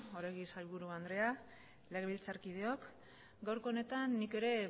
oregi sailburu andrea legebiltzarkideok gaurko honetan nik ere